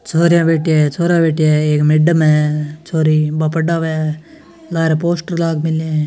छोरया बैठी है छोरा बैठे हैएक मैडम है छोरी वह पढ़ रहे है लारा पोस्टर लगा मैल्या है।